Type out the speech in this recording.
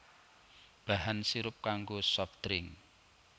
Bahan sirup kanggo soft drink